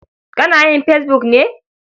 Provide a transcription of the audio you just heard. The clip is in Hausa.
Kana yin fesbuk ne?